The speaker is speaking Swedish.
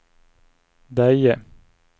Deje